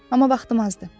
Amma vaxtım azdır.